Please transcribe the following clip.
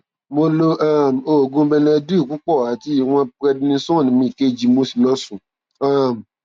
mo lo um oògùn benedyl púpọ àti ìwọn prednisone mi kejì mo sì lọ sùn um